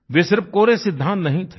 वे सिर्फ कोरे सिद्दांत नहीं थे